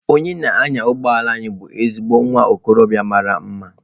Onye na-anya ụgbọ elu anyị bụ ezigbo nwa okorobịa mara mma.